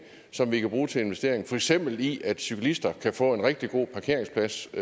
som vi kan bruge til investeringer for eksempel i at cyklister kan få en rigtig god parkeringsplads og